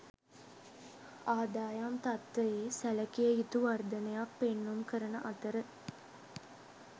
ආදායම් තත්ත්වයේ සැලකිය යුතු වර්ධනයක් පෙන්නුම් කරන අතර